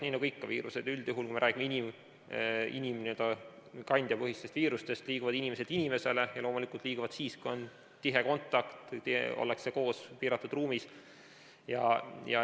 Nii nagu ikka viirused üldjuhul, kui me räägime inimkandjapõhistest viirustest, mis liiguvad inimeselt inimesele, liiguvad need loomulikult siis, kui on tihe kontakt, ollakse koos piiratud ruumis.